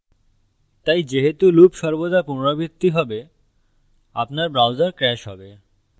তাই যেহেতু loop সর্বদা পুনরাবৃত্তি হবে আপনার browser crash হবে